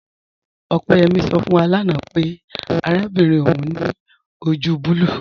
Opeyẹmi sọ fún wà láńà pẹ̀ àràbìnrin ọún ni ojú bùlùù.